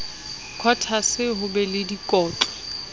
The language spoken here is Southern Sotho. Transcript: quotas ho be le dikotlo